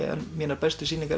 mínar bestu sýningar